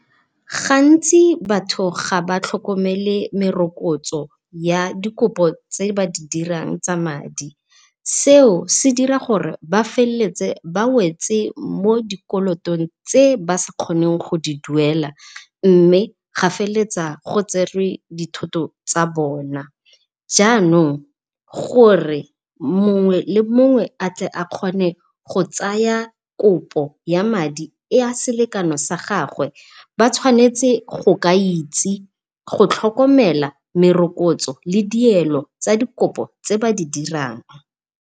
Gantsi batho ga ba tlhokomele merokotso ya dikopo tse ba didirang tsa madi. Seo se dira gore ba feleletse ba wetse mo dikolotong tse ba sa kgoneng go di duela mme gwa feletsa go tserwe dithoto tsa bona. Jaanong gore mongwe le mongwe a kgone go tsaya kopo ya madi a selekano sa gagwe, Ba tshwanetse go ka itse, go tlhokomela merokotso le dielo tsa dikopo tse ba di dirang.